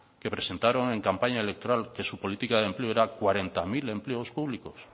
que presentaron en campaña electoral que su política de empleo eran cuarenta mil empleos públicos